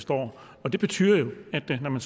står og det betyder jo at når man